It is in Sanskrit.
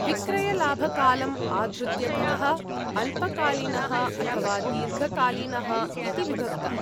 विक्रयलाभकालम् आधृत्य करः, अल्पकालीनः अथवा दीर्घकालीनः इति विभक्तः।